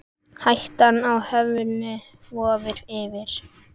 Hættan á höfnun vofir yfir.